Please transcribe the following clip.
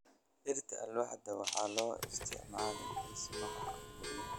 Dhirta alwaaxda waxaa loo isticmaalaa dhismaha guryaha.